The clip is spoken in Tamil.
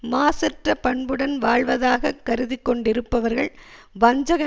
மாசற்ற பண்புடன் வாழ்வதாகக் கருதிக்கொண்டிருப்பவர்கள் வஞ்சக